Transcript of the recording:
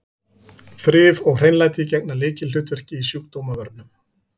Þrif og hreinlæti gegna lykilhlutverki í sjúkdómavörnum.